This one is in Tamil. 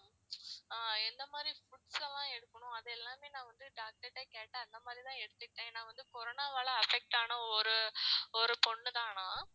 ஆஹ் எந்த மாதிரி foods எல்லாம் எடுக்கணும் அது எல்லாமே நான் வந்து doctor கிட்ட கேட்டேன் அந்த மாதிரிதான் எடுத்துக்கிட்டன். ஏன்னா வந்து corona வால affect ஆன ஒரு பொண்ணு தான் நான்